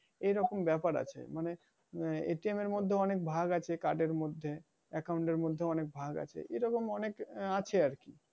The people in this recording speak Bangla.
এরকম ব্যাপার আছে মানে, এর মধ্যে অনেক ভাগ আছে card এর মধ্যে account এর মধ্যে অনেক ভাগ আছে এরকম অনেক আহ আছে আরকি